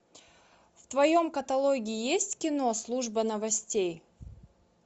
в твоем каталоге есть кино служба новостей